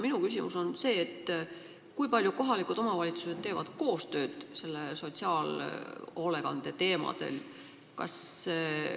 Minu küsimus on see: kui palju kohalikud omavalitsused teevad koostööd sotsiaalhoolekande teemadel?